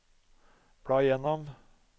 bla gjennom